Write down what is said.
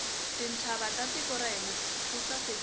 tintshava ta tiko ra hina ti sasekile